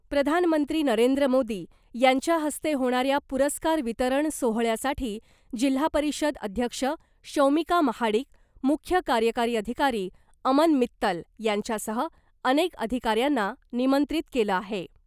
प्रधानमंत्री नरेंद्र मोदी यांच्या हस्ते होणाऱ्या पुरस्कार वितरण सोहळ्यासाठी जिल्हा परिषद अध्यक्ष शौमिका महाडिक , मुख्य कार्यकारी अधिकारी अमन मित्तल यांच्यासह अनेक अधिकाऱ्यांना निमंत्रित केलं आहे .